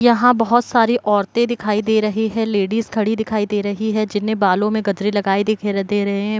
यहाँ बहोत सारी औरते दिखाई दे रही है लेडिज खड़ी दिखाई दे रही है जिन्होंने बालों मे गजरे लगाए दिखे दे रहे है।